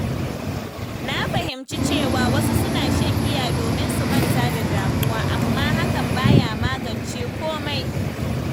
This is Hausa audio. Na fahimci cewa wasu suna shan giya domin su manta da damuwa, amma hakan baya magance komai.